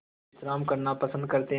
विश्राम करना पसंद करते हैं